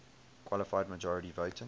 qualified majority voting